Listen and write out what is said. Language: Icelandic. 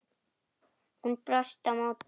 Hún brosti á móti.